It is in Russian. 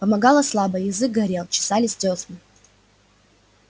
помогало слабо язык горел чесались дёсны